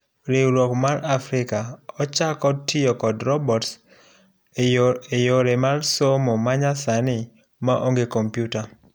Riwruok mar Africa ochako kod tiyo kod robotseyore somo manyasani maonge kompiuta.